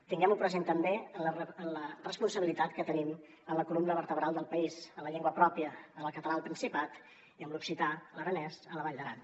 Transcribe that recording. tinguem ho present també en la responsabilitat que tenim en la columna vertebral del país en la llengua pròpia amb el català al principat i amb l’occità l’aranès a la vall d’aran